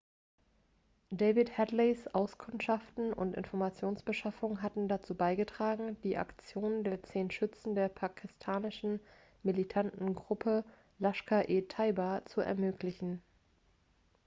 david headleys auskundschaften und informationsbeschaffung hatten dazu beigetragen die aktion der 10 schützen der pakistanischen militanten gruppe laskhar-e-taiba zu ermöglichen